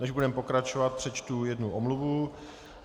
Než budeme pokračovat, přečtu jednu omluvu.